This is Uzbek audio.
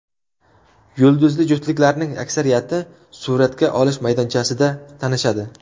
Yulduzli juftliklarning aksariyati suratga olish maydonchasida tanishadi.